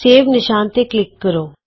save ਨਿਸ਼ਾਨ ਤੇ click ਕਰੋ